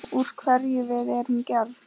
Úr hverju við erum gerð.